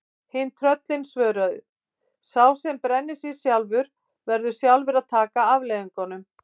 Hin tröllin svöruðu: Sá sem brennir sig sjálfur, verður sjálfur að taka afleiðingunum